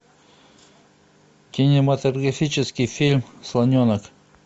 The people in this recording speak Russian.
кинематографический фильм слоненок